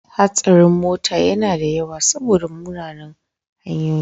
Hatsarin mota yana da yawa saboda munanan hanyoyi.